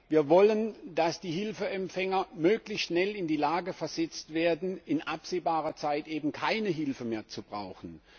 Wir wollen, dass die Hilfeempfänger möglichst schnell in die Lage versetzt werden, in absehbarer Zeit eben keine Hilfe mehr zu brauchen.